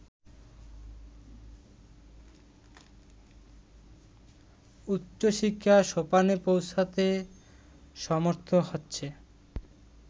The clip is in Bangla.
উচ্চশিক্ষা সোপানে পৌঁছতে সমর্থ হচ্ছে